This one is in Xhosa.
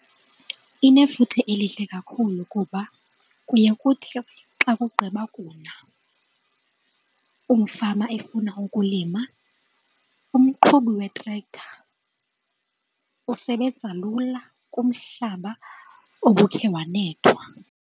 Inefuthe elihle kakhulu kuba kuye kuthi xa kugqiba kuna umfama efuna ukulima, umqhubi we-tractor usebenza lula kumhlaba obukhe wanethwa.